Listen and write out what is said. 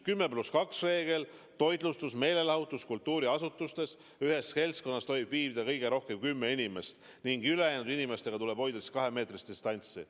10 + 2 reegel toitlustus-, meelelahutus-, kultuuriasutustes: ühes seltskonnas tohib viibida kõige rohkem kümme inimest ning ülejäänud inimestega tuleb hoida kahemeetrist distantsi.